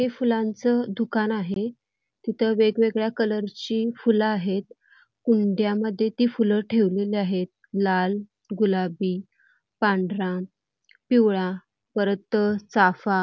हे फुलांच दुकान आहे तिथं वेगवेगळ्या कलरची फुले आहेत कुंड्यामध्ये ती फुले ठेवली आहेत लाल गुलाबी पांढरा पिवळा परत चाफा --